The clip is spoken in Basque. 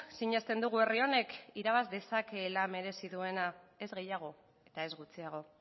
sinesten dugu herri honek irabaz dezakeela merezi duena ez gehiago eta ez gutxiago